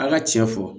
An ka cɛ fɔ